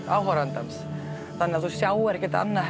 áhorfandans þannig að þú sjáir ekkert annað